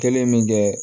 Kelen min kɛ